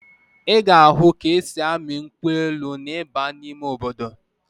Ị ga-ahụ ka e si amị nkwụ elu ma ị baa n'ime obodo